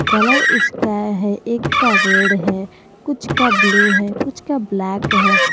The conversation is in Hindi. कलर उसका है एक का रेड है कुछ का ब्लू है कुछ का ब्लैक है।